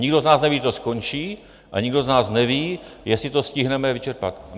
Nikdo z nás neví, kdy to skončí, a nikdo z nás neví, jestli to stihneme vyčerpat.